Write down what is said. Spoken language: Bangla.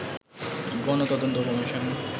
গণ তদন্ত কমিশন